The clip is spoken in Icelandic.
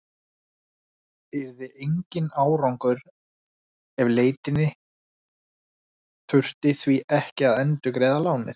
Yrði enginn árangur af leitinni þurfti því ekki að endurgreiða lánið.